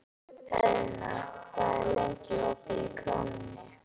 Eðna, hvað er lengi opið í Krónunni?